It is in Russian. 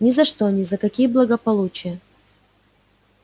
ни за что ни за какие благополучия